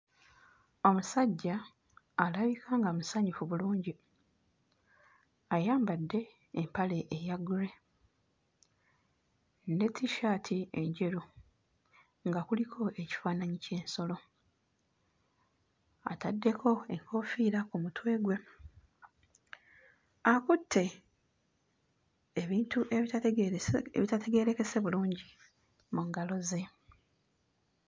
Omusajja alabika nga musanyufu bulungi ayambadde empale eya ggule ne tissaati enjeru nga kuliko ekifaananyi ky'ensolo. Ataddeko enkoofiira ku mutwe gwe, akutte ebintu ebitategerese ebitategeerekese bulungi mu ngalo ze.